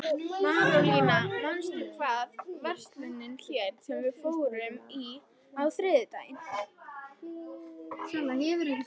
Marólína, manstu hvað verslunin hét sem við fórum í á þriðjudaginn?